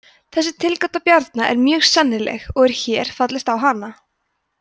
þessi tilgáta bjarna er mjög sennileg og er hér fallist á hana